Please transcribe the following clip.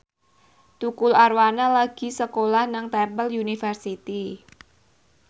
Tukul Arwana lagi sekolah nang Temple University